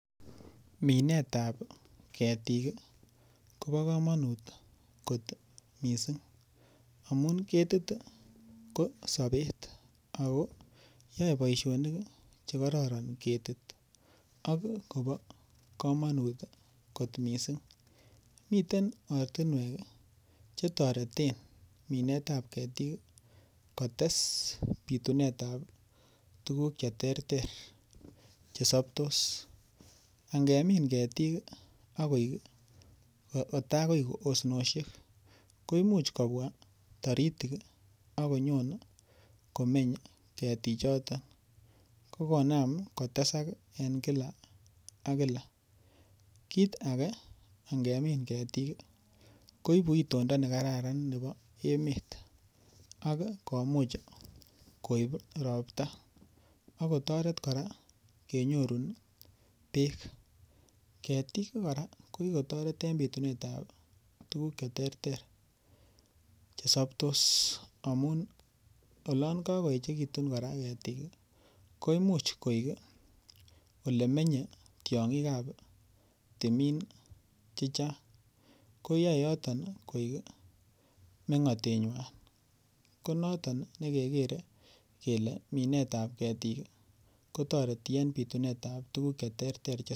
Minetab ketik kobo kamanut kot mising' amun ketit ko sobet ako yoei boishonik chekororon ketit ak kobo kamanut kot mising' miten ortinwek chetoreten minsetab ketik kotes bitunetab tukuk cheterter chesoptos angemin ketik akoek kotakoi osnoshek ko muuch kobwa toritik ako nyokomeny ketichoto kokonam kotesak eng' kila ak kila kiit age angemin ketik koibu itondo nekararan nebo emet ak komuuch koib ropta akotoret kora kenyorun beek ketik kora ko kikotoret eng' bitunetab tukuk cheterter chesoptos amun olon kakoechekitun kora ketik ko imuuch koek ole menyei tiong'ikab timin chechang' koyoei ko yoton koek meng'otenywai ko noton nekekerei kele minetab ketik kotoreti eng' bitunetab tukuk cheterter